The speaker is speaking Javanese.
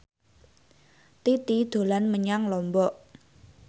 Titi dolan menyang Lombok